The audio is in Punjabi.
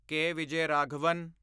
ਕੇ. ਵਿਜੈਰਾਘਵਨ